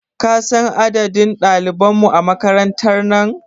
Kasan adadin ɗaliban mu a makarantar nan?